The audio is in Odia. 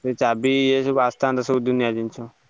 ସେ ଚାବି ଏ ସବୁ ଆସିଥାନ୍ତ ଦୁନିଆ ଜିନିଷ।